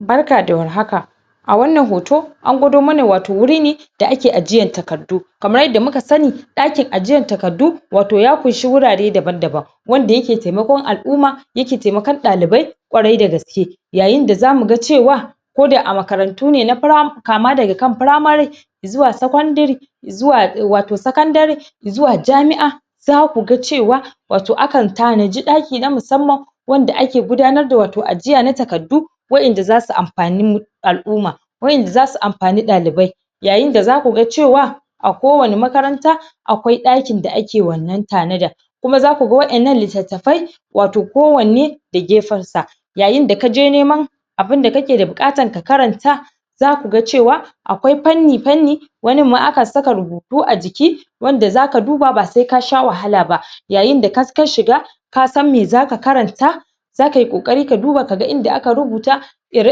barka da war haka a wannan hot an gwado mana wato wuri ne da ake ajiyan takardu kamar yadda muka sani dakin ajiyar takardu wato ya kushi wurare daban daban wanda yake taimakon al'umma yake taimakon dalibai ƙwarai dagaske yayin da zamu ga cewa ko da a makarantu na kama daga kan primary zuwa secondary zuwa wato secondary zuwa jami'a zaku ga cewa wato akan tanaji daki na musamman wanda ake gudanar da wato ajiya na takardu wa'en da zasu amfane al'umma wa'en da zasu amfane dalibai yayin da zaku ga cewa a kowani makaranta akwai ɗakin da ake wannan tanada kuma zaku ga wa'ennan littatafai wato kowanne da gefen sa yayin da kaje neman abun da kake da bukatan ka karanta zaku ga cewa akwai fanni fanni wanin ma akan saka rubutu a jiki wanda zaka duba ba sai ka sha wahala ba yayin da ka shiga ka san me zaka karanta zakayi kokari ka duba kaga inda aka rubuta ire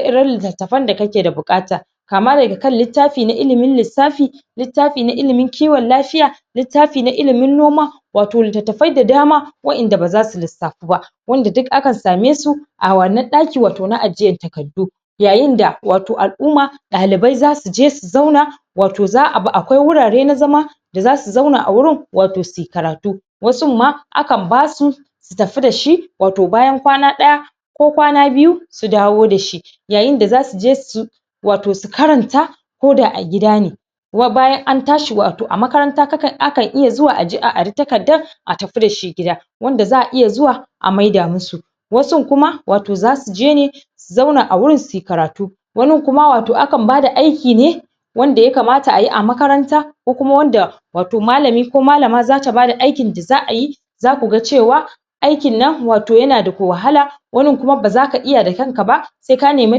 iren littattafin da kake bukata kama daga kan littafi na ilimin lissafi littafi na ilimin kiwon lafiya littafi na ilimin noma wato littatafai da dama wa'en da baza su lissafu ba wanda duk akan same su a wannan daki wato na akiyan takardu yayin da alumma dalibai zasu je su zauna wato akwai wurare na zama zasu zauna a wurin wato suyi karatu wasun ma akan basu su tafi dashi wato bayan kwana ɗaya ko kwana biyu su dawo dashi yayin da zasu je su wato su karanta ko da a gida ne kuma bayan an tashi wato a makaranta akan iya zuwa a aje a ara takardan a tafi dashi gida wanda za'a iya zuwa a maida musu wasun kuma wato zasu je ne su zauna a wurin suyi karatu wanin kuma wato akan bada aiki ne wanda ya kamata ayi a makaranta ko kuma wanda wato malami ko malama zata bada aikin da za'ayi zaku ga cewa aikin nan wato yana da wahala wanin kuma baza ka iya da kan ka ba sai ka nema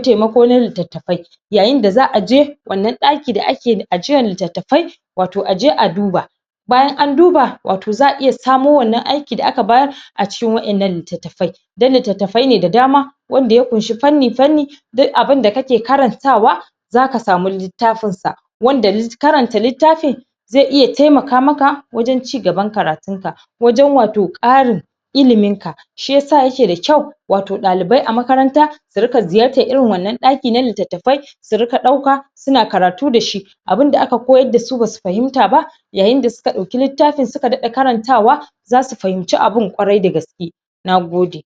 taimako na littattafi yayin da za'aje wannan dakin da ake ajiyan littattafai wato aje a duba bayan an duba wato za'a iya samo wannan aikin da aka bayar a cikin wa'ennan littattafai dan littattafai ne da dama wanda ya kunshi fanni fanni duk abunda kake karantawa zaka samu littafin sa wanda karanta littafin zai iya taimaka maka wajen cigaban karatun ka wajen wato karin ilimin ka shiyasa yake da ƙyau wato dalibai a makaranta su ziyatar irin wannan daki na littattafi su ringa dauka suna karatu dashi abun da aka koyar dasu basu fahimta ba yayin da suka dauki littafin suka ringa karantawa zasu fahimce abun ƙwarai dagaske nagode